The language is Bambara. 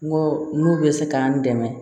N go n'u be se ka n dɛmɛ